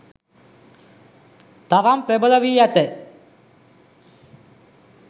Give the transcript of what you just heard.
තරම් ප්‍රබල වී ඇත.